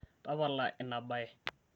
tapala ina baye